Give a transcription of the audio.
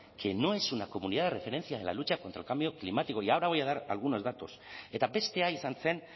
que no que no es una comunidad de referencia en la lucha contra el cambio climático y ahora voy a dar algunos datos eta bestea izan zen